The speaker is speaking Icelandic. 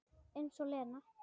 Eins og Lena!